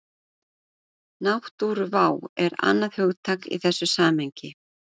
Náttúruvá er annað hugtak í þessu samhengi.